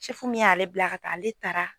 Sɛfu min y'ale bila ka taa ale taara